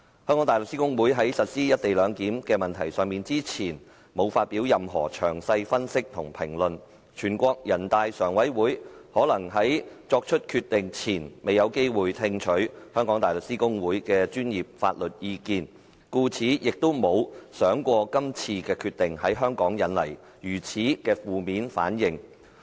香港大律師公會在實施"一地兩檢"的問題上，之前沒有發表任何詳細分析和評論，人大常委會可能在作出決定前未有機會聽取香港大律師公會的專業法律意見，故此亦沒有想過這次決定會在香港引來如此的負面反應。